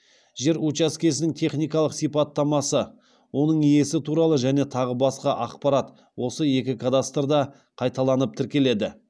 жер учаскесінің техникалық сипаттамасы оның иесі туралы және тағы басқа ақпарат осы екі кадастрда қайталанып тіркеледі